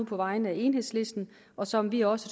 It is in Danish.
på vegne af enhedslisten og som vi også